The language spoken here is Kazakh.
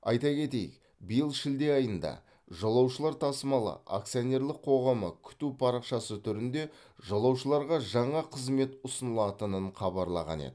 айта кетейік биыл шілде айында жолаушылар тасымалы акционерлік қоғамы күту парақшасы түрінде жолаушыларға жаңа қызмет ұсынылатынын хабарлаған еді